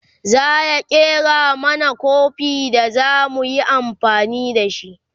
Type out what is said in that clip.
zaya ƙera mana Kofi da zamu yi amfani da shi